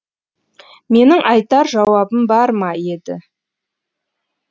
менің айтар жауабым бар ма еді